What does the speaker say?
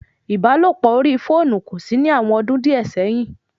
Ìbálòpọ̀ orí fóònù kòsí ní àwọn ọdún díẹ̀ sẹ́yìn